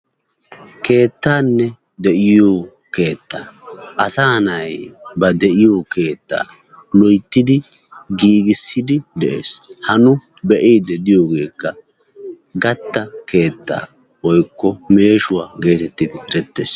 keettanne de'iyo keetta asaa naati ba de'iyo keetta giigissidi de'ees. ha nu be'iyogeekka gatta keettaa woykko meeshshuwa geetettees.